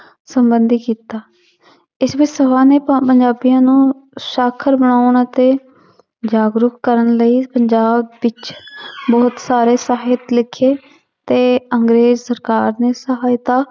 ਸੰਬੰਧੀ ਕੀਤਾ ਇਸ ਵਿੱਚ ਨੂੰ ਸਾਖਰ ਨਾ ਆਉਣਾ ਤੇ ਜਾਗਰੂਕ ਕਰਨ ਲਈ ਪੰਜਾਬ ਵਿੱਚ ਬਹੁਤ ਸਾਰੇ ਸਾਹਿਤ ਲਿਖੇ ਤੇ ਅੰਗਰੇਜ਼ ਸਰਕਾਰ ਦੀ ਸਹਾਇਤਾ